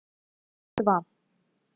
два